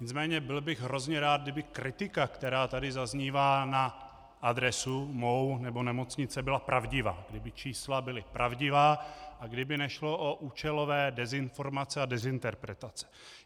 Nicméně byl bych hrozně rád, kdyby kritika, která tady zaznívá na adresu mou nebo nemocnice, byla pravdivá, kdyby čísla byla pravdivá a kdyby nešlo o účelové dezinformace a dezinterpretace.